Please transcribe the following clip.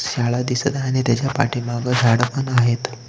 शाळा दिसत आहे आणि त्याच्या पाठीमाग झाड पण आहेत.